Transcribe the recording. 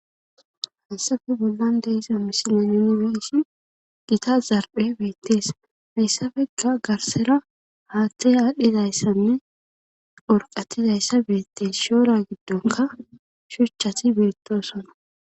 hasafe bollan deiza misine yuniesi gita zarphe beettees messafeka garsera haaththey aadhdhizayssanne orqatizayssa beettes shoora giddonka shuchchati beettosona,